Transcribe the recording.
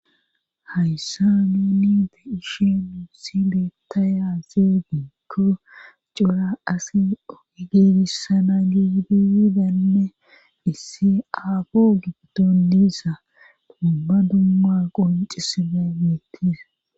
Hayssa nuuni te ishe nuusi beettayazeediikko cura asi geegissana gidiidanne issi aagu giddon diisa dumba dumma qoncisife miittisa